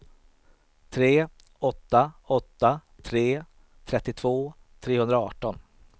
tre åtta åtta tre trettiotvå trehundraarton